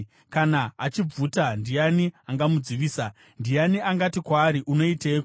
Kana achibvuta, ndiani angamudzivisa? Ndiani angati kwaari, ‘Unoiteiko?’